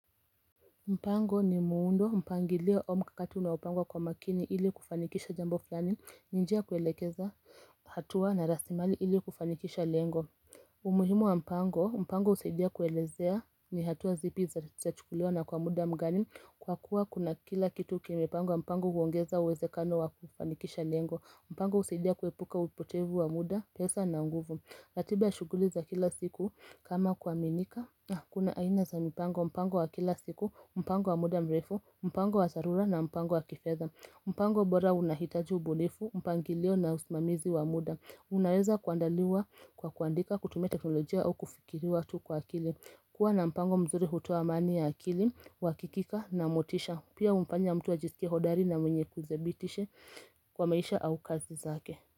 Mpango ni muundo mpangilio au mkakati unaopangwa kwa makini ili kufanikisha jambo flani ninjia kuelekeza hatua na rasilimali ili kufanikisha lengo umuhimu wa mpango mpango usaidia kuelezea ni hatua zipi za chukulewa na kwa muda mgani kwa kuwa kuna kila kitu kimepangwa mpango huongeza uwezekano wa kufanikisha lengo mpango husaidia kuepuka upotevu wa muda, pesa na nguvu ratiba shughuli za kila siku kama kua minika Kuna aina za mipango, mpango wa kila siku, mpango wa muda mrefu, mpango wa tharura na mpango wa kifedha. Mpango bora unahitaji ubunifu, mpangilio na usimamizi wa muda Unaweza kuandaliwa kwa kuandika, kutumia teknolojia au kufikiriwa tu kwa akili kuwa na mpango mzuri hutoa amani ya akili, wakikika na motisha Pia humfanya mtu ajisikie hodari na mwenye kuzebitishe kwa maisha au kazi zake.